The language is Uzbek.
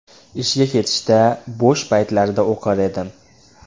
Ishga ketishda, bo‘sh paytlarda o‘qir edim.